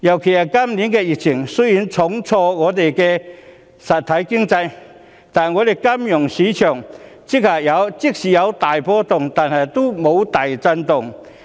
雖然今年的疫情重挫香港實體經濟，但香港金融市場即使有大波動，也沒有大震動。